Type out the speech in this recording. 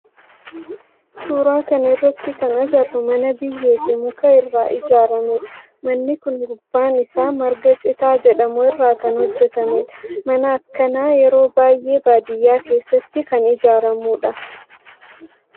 Suuraa kana irratti kan agarru mana biyyee fi muka irraa ijaarame dha. Manni kun gubbaan isaa marga citaa jedhamu irraa kan hojjetamedha. Manni akkanaa yeroo baayyee baadiyaa keessatti kan ijaaramudha.